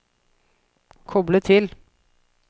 koble til